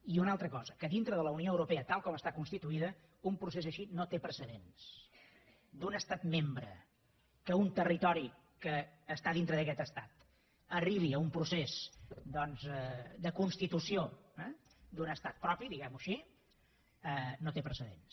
i una altra cosa que dintre de la unió europea tal com està constituïda un procés així no té precedents d’un estat membre que un territori que està dintre d’aquest estat arribi a un procés doncs de constitució d’un estat propi diguem ho així no té precedents